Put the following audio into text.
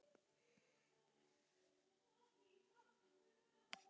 Við viljum að þú sért vinur okkar.